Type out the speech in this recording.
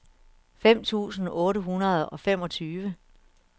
fem tusind otte hundrede og femogtyve